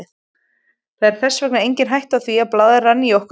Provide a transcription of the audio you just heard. Það er þess vegna engin hætta á því að blaðran í okkur springi.